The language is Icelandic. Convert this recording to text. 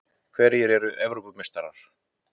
Hverjir verða Evrópumeistarar?